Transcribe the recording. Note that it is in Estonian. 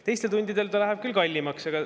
Teistel tundidel ta läheb küll kallimaks.